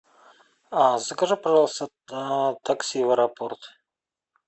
закажи пожалуйста такси в аэропорт